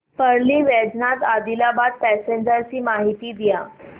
Parli Vaijnath Adilabad passenger ची माहिती द्या